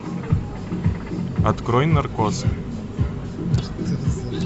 открой наркоз